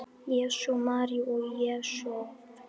Jesús, María og Jósef!